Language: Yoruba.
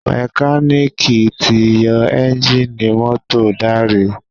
Mẹkáníìkì tí yó Ẹ́ńjìnì mọ́tò Dare.